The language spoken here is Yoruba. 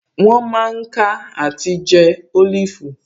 Wọ́n mà ń ká àti jẹ́ Olifu